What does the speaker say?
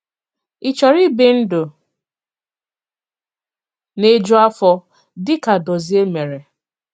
Ị chọ̀rọ̀ íbì ndụ̀ na-ejù àfọ̀, dị ka Dòzìè mèré?